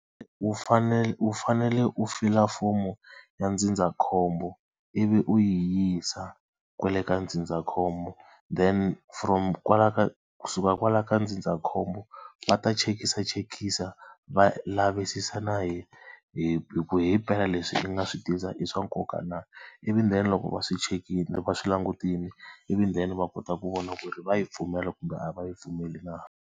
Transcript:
U fanele u fanele u fila fomo ya ndzindzakhombo, ivi u yi yisa kwale ka ndzindzakhombo then from kwalaya ka kusuka kwalaya ka ndzindzakhombo, va ta chekisisachekisisa va lavisisa na hi hi ku himpela leswi i nga swi tisa i swa nkoka na Ivi then loko va swi chekile loko va swi langutile ivi then va kota ku vona ku ri va yi pfumela kumbe a va yi pfumeli na.